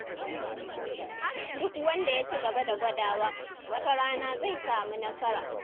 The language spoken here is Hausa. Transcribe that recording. Duk wanda ya ci gaba da gwadawa, wata rana zai samu nasara.